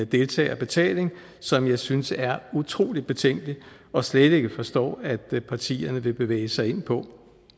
deltagerbetaling som jeg synes er utrolig betænkelig og slet ikke forstår at partierne vil bevæge sig ind på